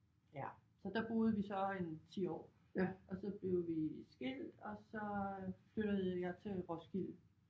Ja så der boede vi så en 10 år og så blev vi skilt og så flyttede jeg til Roskilde